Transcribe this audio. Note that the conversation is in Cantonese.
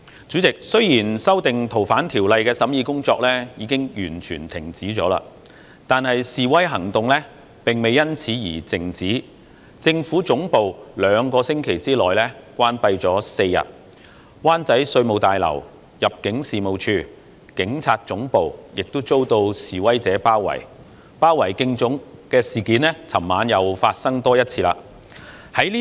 主席，雖然修訂《逃犯條例》的審議工作已經完全停止，但示威行動並未因此而靜止，政府總部兩星期內關閉了4天，灣仔稅務大樓、入境事務大樓及警察總部亦遭示威者包圍，昨晚又發生多一次包圍警察總部的事件。